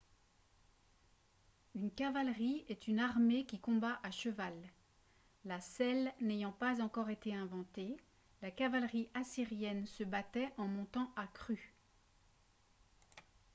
une cavalerie est une armée qui combat à cheval la selle n'ayant pas encore été inventée la cavalerie assyrienne se battait en montant à cru